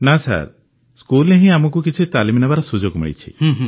ନା ସ୍କୁଲରେ କିଛି ତାଲିମ ନେବାର ସୁଯୋଗ ମିଳିଛି